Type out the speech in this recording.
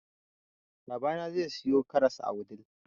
babana zai siyo karas a wudil